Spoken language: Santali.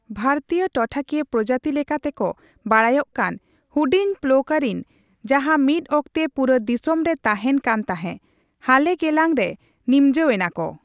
ᱵᱷᱟᱨᱛᱤᱭᱚ ᱴᱚᱴᱷᱟᱠᱤᱭᱟᱹ ᱯᱨᱚᱡᱟᱛᱤ ᱞᱮᱠᱟᱛᱮ ᱠᱚ ᱵᱟᱰᱟᱭᱚᱜ ᱠᱟᱱ, ᱦᱩᱰᱤᱧ ᱯᱷᱞᱳᱨᱤᱠᱟᱱ, ᱡᱟᱦᱟᱸ ᱢᱤᱫ ᱚᱠᱛᱮ ᱯᱩᱨᱟᱹ ᱫᱤᱥᱚᱢ ᱨᱮ ᱛᱟᱦᱮᱱ ᱠᱟᱱᱛᱟᱦᱮᱸ, ᱦᱟᱞᱮ ᱜᱮᱞᱟᱝ ᱨᱮ ᱱᱤᱢᱡᱟᱣ ᱮᱱᱟ ᱠᱚ ᱾